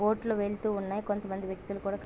boat లు వెళ్తుతున్నాయి కొంత మంది వ్యక్తులు కూడా --